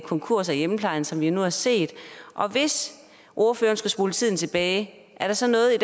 konkurser i hjemmeplejen som vi nu har set og hvis ordføreren skulle spole tiden tilbage er der så noget i